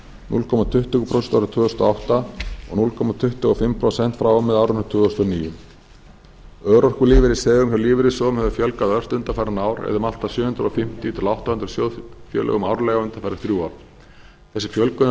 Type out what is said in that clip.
núll komma tuttugu prósent árið tvö þúsund og átta og núll komma tuttugu og fimm prósent frá og með árinu tvö þúsund og níu örorkulífeyrisþegum hjá lífeyrissjóðum hefur fjölgað ört undanfarin ár eða um allt að sjö hundruð fimmtíu til átta hundruð sjóðfélögum árlega undanfarin þrjú ár þessi fjölgun hefur haft í